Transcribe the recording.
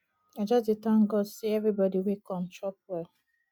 i just dey thank god say everybody wey come chop well